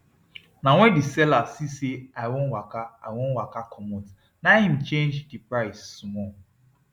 na when the seller see say i wan waka i wan waka comot na im he change the price small